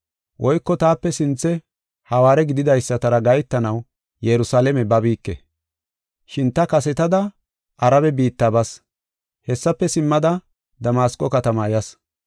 Woyko taape sinthe hawaare gididaysatara gahetanaw Yerusalaame babike. Shin ta kasetada Arabe biitta bas; hessafe simmada Damasqo katamaa yas.